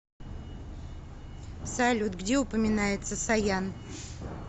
салют где упоминается саян